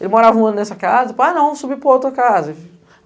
Ele morava um ano nessa casa, depois não, subiu para outra casa.